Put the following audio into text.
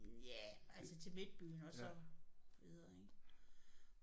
Ja altså til midtbyen og så videre ind